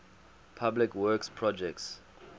public works projects